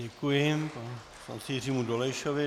Děkuji panu poslanci Jiřímu Dolejšovi.